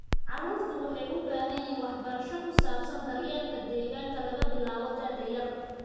Carruurtu waxay u baahan yihiin waxbarasho ku saabsan daryeelka deegaanka laga bilaabo da'da yar.